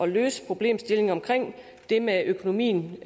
løse problemstillingen omkring det med økonomien i